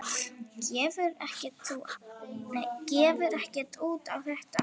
Gefur ekkert út á þetta.